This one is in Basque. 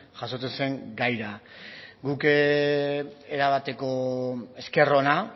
jasotzen zen gaira guk erabateko esker ona